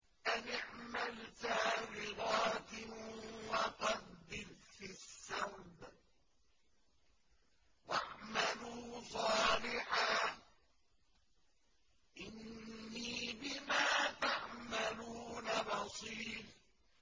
أَنِ اعْمَلْ سَابِغَاتٍ وَقَدِّرْ فِي السَّرْدِ ۖ وَاعْمَلُوا صَالِحًا ۖ إِنِّي بِمَا تَعْمَلُونَ بَصِيرٌ